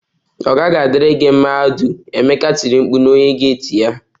Ọ gaghị adịri gị mma Audu! Emeka tiri mkpu na onye gate ya